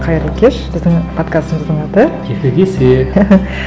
қайырлы кеш біздің подкастымыздың аты екі кесе